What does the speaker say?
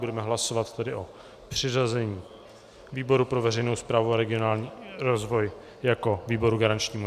Budeme hlasovat tedy o přiřazení výboru pro veřejnou správu a regionální rozvoj jako výboru garančnímu.